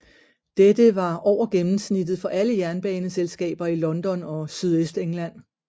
Dette var over gennemsnittet for alle jernbaneselskaber i London og Sydøstengland